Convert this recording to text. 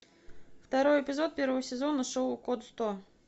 второй эпизод первого сезона шоу код сто